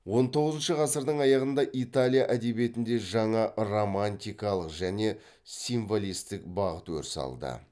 он тоғызыншы ғасырдың аяғында италия әдебиетінде жаңа романтикалық және символистік бағыт өріс алды